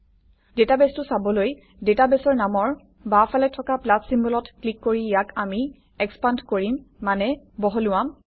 ডাটাবেছটো চাবলৈ ডাটাবেছৰ নামৰ বাওঁফালে থকা প্লাছ চিম্বলত ক্লিক কৰি ইয়াক আমি এক্সপান্দ্ কৰিম মানে বহলোৱাম